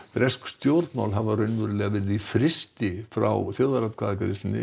bresk stjórnmál hafa verið í frysti frá þjóðaratkvæðagreiðslunni